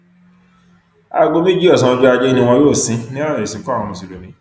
aago méjì ọsán ọjọ ajé ni wọn yóò sìn ín nílànà ìsìnkú àwọn mùsùlùmí